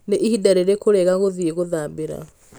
nĩ ĩhinda rĩriku rĩega rĩa gũthiĩ gũthambĩra